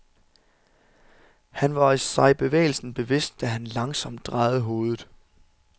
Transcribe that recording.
Han var sig bevægelsen bevidst, da han langsomt drejede hovedet.